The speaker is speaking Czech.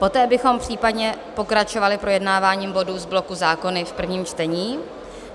Poté bychom případně pokračovali projednáváním bodů z bloku Zákony v prvním čtení.